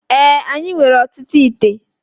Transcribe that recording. Ee, anyị nwere ọtụtụ íté